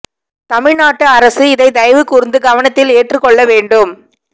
தமிழ் நாட்டு அரசு இதை தயவு கூர்ந்து கவனத்தில் ஏற்று கொள்ள வேண்டும்